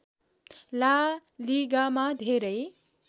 ला लीगामा धेरै